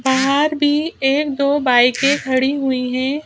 बाहर भी एक दो बाइके खड़ी हुई है।